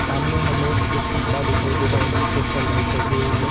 सामने हमे एक खम्बा दिखाई दे रहा है जिसके ऊपर लाइट लगी हुई हैं।